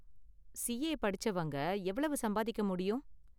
CA படிச்சவங்க எவ்வளவு சம்பாதிக்க முடியும்?